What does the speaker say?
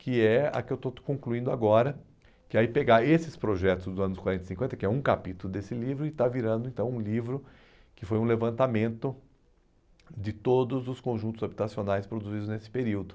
que é a que eu estou concluindo agora, que é pegar esses projetos dos anos quarenta e cinquenta, que é um capítulo desse livro, e está virando então um livro que foi um levantamento de todos os conjuntos habitacionais produzidos nesse período.